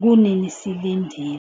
Kunini silindile.